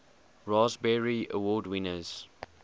raspberry award winners